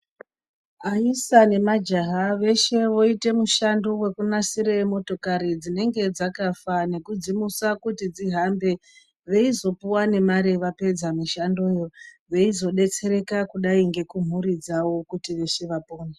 Aisa nemajaha veshe voite mushando wekunaisire motikari dzinenge dzakafa nekudzimusa kuti dzihambe vaizopuwa nemare vapedza mushandoyo, veizodetsereka kudai ngekunhuri dzavo kuti veshe vapone.